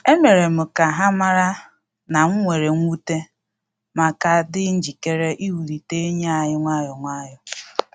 E mere m ka ha mara na m were nwute, ma ka dị njikere iwulite enyi anyi nwayọ nwayọ